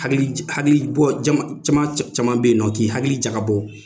Hakilibɔ caman bɛ yen nɔ k'i hakili jagabɔ